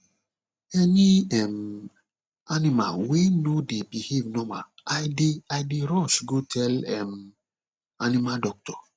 any um animal wey no dey behave normal i dey i dey rush go tell um animal doctor